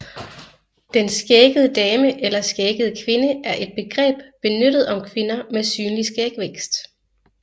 Den skæggede dame eller skæggede kvinde er et begreb benyttet om kvinder med synlig skægvækst